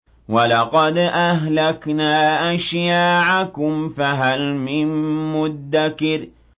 وَلَقَدْ أَهْلَكْنَا أَشْيَاعَكُمْ فَهَلْ مِن مُّدَّكِرٍ